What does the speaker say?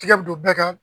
Tigɛ bi don bɛɛ kan